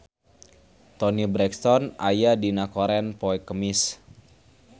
Toni Brexton aya dina koran poe Kemis